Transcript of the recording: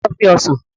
Ta ló fẹ́ Ọsàn?